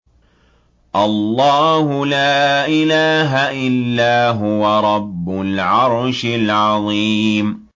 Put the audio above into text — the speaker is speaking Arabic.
اللَّهُ لَا إِلَٰهَ إِلَّا هُوَ رَبُّ الْعَرْشِ الْعَظِيمِ ۩